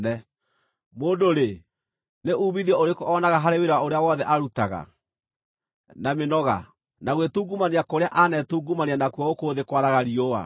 Mũndũ-rĩ, nĩ uumithio ũrĩkũ oonaga harĩ wĩra ũrĩa wothe arutaga, na mĩnoga, na gwĩtungumania kũrĩa anetungumania nakuo gũkũ thĩ kwaraga riũa?